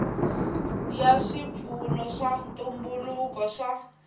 ya swipfuno swa ntumbuluko swa